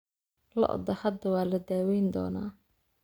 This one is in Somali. Lo'da hadda waa la daaweyn doonaa